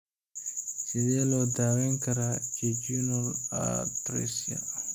Sidee loo daweyn karaa jejunal atresia?